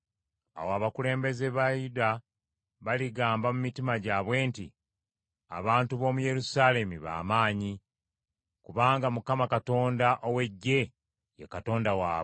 Awo abakulembeze ba Yuda baligamba mu mitima gyabwe nti, ‘Abantu b’omu Yerusaalemi ba maanyi, kubanga Mukama Katonda ow’Eggye ye Katonda waabwe.’